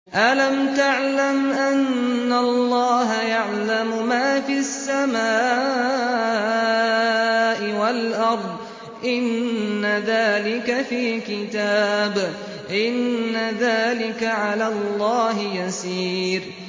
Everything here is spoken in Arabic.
أَلَمْ تَعْلَمْ أَنَّ اللَّهَ يَعْلَمُ مَا فِي السَّمَاءِ وَالْأَرْضِ ۗ إِنَّ ذَٰلِكَ فِي كِتَابٍ ۚ إِنَّ ذَٰلِكَ عَلَى اللَّهِ يَسِيرٌ